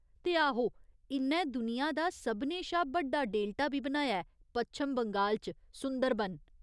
ते आहो, इ'न्नै दुनिया दा सभनें शा बड्डा डेल्टा बी बनाया ऐ पच्छम बंगाल च सुंदरबन।